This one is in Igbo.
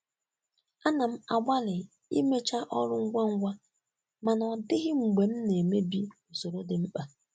Ana m agbalị imecha ọrụ ngwa ngwa mana ọ dịghị mgbe m na-emebi usoro dị mkpa.